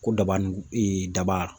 Ko daba ni ee daba